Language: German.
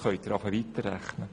Nun können sie weiterrechnen.